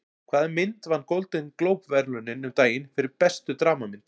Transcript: Hvaða mynd vann Golden Globe verðlaunin um daginn fyrir bestu dramamynd?